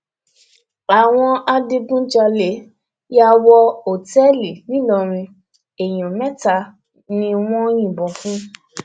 àwọn adigunjalè yà wọ òtẹẹlì ńìlọrin èèyàn mẹta ni wọn yìnbọn fún